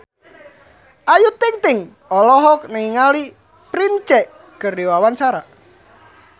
Ayu Ting-ting olohok ningali Prince keur diwawancara